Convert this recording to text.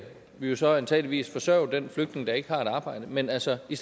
vi jo så antageligvis forsørge den flygtning der ikke har et arbejde men altså i